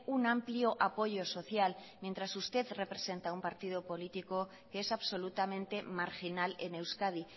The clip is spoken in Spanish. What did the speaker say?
un amplio apoyo social mientras usted representa a un partido político que es absolutamente marginal en euskadi